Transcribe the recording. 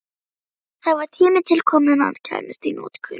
Það var tími til kominn að hann kæmist í notkun!